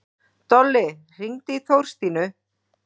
Dolli, hringdu í Þorstínu.